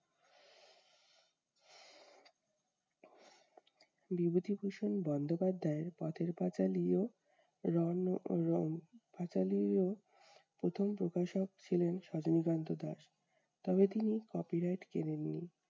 বিভূতিভূষণ বন্দ্যোপাধ্যায়ের পথের-পাঁচালি ও পাঁচালি ও প্রথম প্রকাশক ছিলেন সজনীকান্ত দাস। তবে তিনি copyright কেনেন নি।